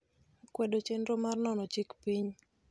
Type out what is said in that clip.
kwedo chenro mar nono chik piny